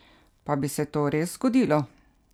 Pa bi se to res zgodilo?